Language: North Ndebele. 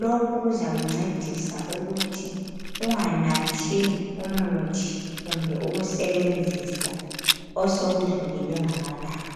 Lokhu kuzakuncedisa ukuthi unganathi umuthi kumbe ukusebenzisa osokudlulelwe ngamalanga.